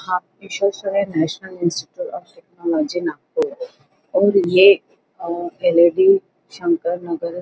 आप National Institute of Technology Nagpur और ये पहले भी शंकरनगर --